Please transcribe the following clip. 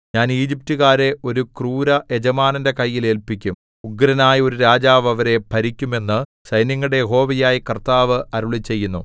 ഞാൻ ഈജിപ്റ്റുകാരെ ഒരു ക്രൂരയജമാനന്റെ കയ്യിൽ ഏല്പിക്കും ഉഗ്രനായ ഒരു രാജാവ് അവരെ ഭരിക്കും എന്നു സൈന്യങ്ങളുടെ യഹോവയായ കർത്താവ് അരുളിച്ചെയ്യുന്നു